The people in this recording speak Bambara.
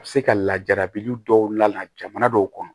A bɛ se ka lajarabi dɔw la jamana dɔw kɔnɔ